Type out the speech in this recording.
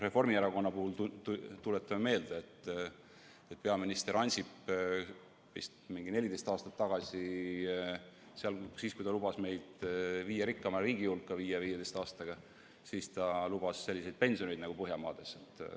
Reformierakonna puhul, tuletame meelde, peaminister Ansip vist 14 aastat tagasi lubas meid 15 aastaga viia Euroopa viie rikkaima riigi hulka, ta lubas selliseid pensione nagu Põhjamaades.